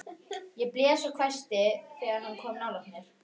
Ég blés og hvæsti þegar hann kom nálægt mér.